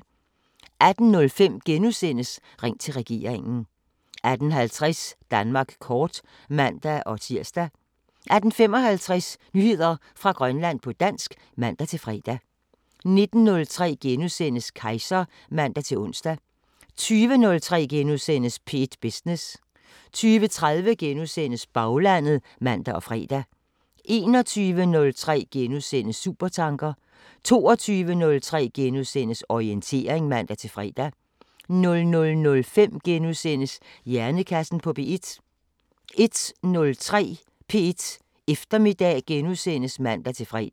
18:05: Ring til regeringen * 18:50: Danmark kort (man-tir) 18:55: Nyheder fra Grønland på dansk (man-fre) 19:03: Kejser *(man-ons) 20:03: P1 Business * 20:30: Baglandet *(man og fre) 21:03: Supertanker * 22:03: Orientering *(man-fre) 00:05: Hjernekassen på P1 * 01:03: P1 Eftermiddag *(man-fre)